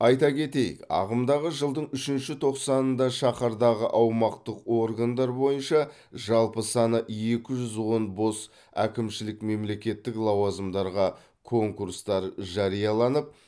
айта кетейік ағымдағы жылдың үшінші тоқсанында шаһардағы аумақтық органдар бойынша жалпы саны екі жүз он бос әкімшілік мемлекеттік лауазымдарға конкурстар жарияланып